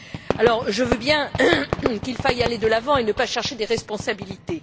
Alors je veux bien qu'il faille aller de l'avant et ne pas chercher des responsabilités.